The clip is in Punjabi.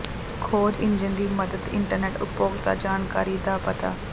ਖੋਜ ਇੰਜਣ ਦੀ ਮਦਦ ਇੰਟਰਨੈੱਟ ਉਪਭੋਗਤਾ ਜਾਣਕਾਰੀ ਦਾ ਪਤਾ